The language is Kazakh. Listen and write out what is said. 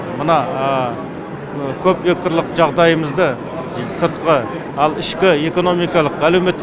мына көп векторлық жағдайымызды сыртқы ал ішкі экономикалық әлеуметтік